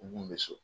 U kun bɛ so